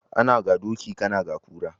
Ana ga doki kana ga kura